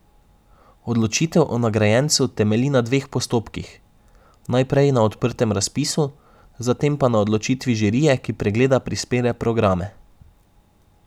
Odločitev o nagrajencu temelji na dveh postopkih, najprej na odprtem razpisu, zatem pa na odločitvi žirije, ki pregleda prispele programe.